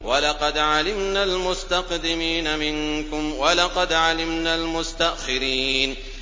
وَلَقَدْ عَلِمْنَا الْمُسْتَقْدِمِينَ مِنكُمْ وَلَقَدْ عَلِمْنَا الْمُسْتَأْخِرِينَ